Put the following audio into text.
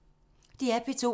DR P2